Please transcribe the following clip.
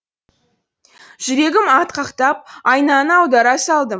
жүрегім атқақтап айнаны аудара салдым